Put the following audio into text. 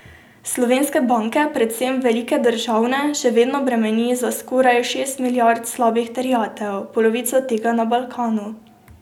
Slovenske banke, predvsem velike državne, še vedno bremeni za skoraj šest milijard slabih terjatev, polovico tega na Balkanu.